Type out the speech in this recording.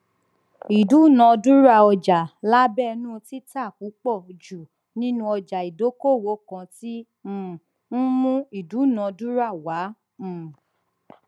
ìdúnàdúràá ọjà lábẹnú títa púpọ jù nínú ọjà ìdókòwò kan tí um ń mú ìdúnàdúrà wá um